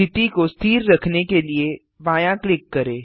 स्थिति को स्थिर रखने के लिए बायाँ क्लिक करें